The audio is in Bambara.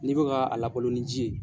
N'i bɛ ka a labalo ni ji ye.